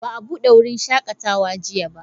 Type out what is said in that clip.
Ba a bude wurin shakatawa ba jiya.